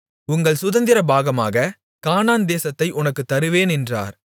உங்கள் சுதந்திரபாகமாக கானான் தேசத்தை உனக்குத் தருவேன் என்றார்